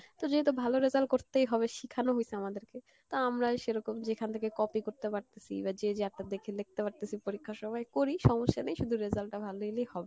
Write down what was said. তো যেহেতু ভালো result করতেই হবে শিখানো হইসে আমাদেরকে তো আমরাই সেরকম যেখান থেকে copy করতে পারতেসি বা যে যার তার দেখে লেখতে পারতেসি পরীক্ষার সময় করি সমস্যা নাই শুধু result টা ভালো হইলেই হবে